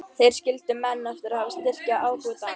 Þeir skildu menn eftir til að styrkja ábótann.